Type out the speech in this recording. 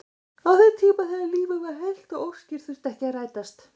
Á þeim tíma þegar lífið var heilt og óskir þurftu ekki að rætast.